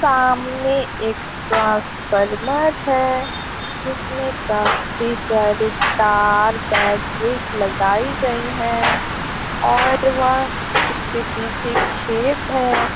सामने एक ट्रांसफॉर्मर है जिसमें काफी सारे तार बैटरी लगायी गयी है और वह उसके पीछे खेत है।